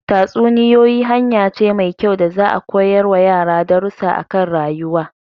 Tatsuniyoyi hanya ce mai kyau da za'a koyar wa yara darusa akan rayuwa